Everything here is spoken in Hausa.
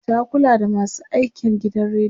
ta Kula da masu aikin gidan radiyon